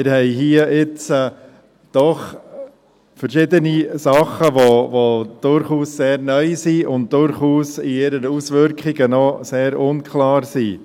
Wir haben hier nun doch verschiedene Dinge, die durchaus sehr neu und in ihren Auswirkungen noch sehr unklar sind.